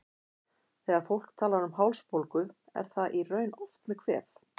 Þegar fólk talar um hálsbólgu er það í raun oft með kvef.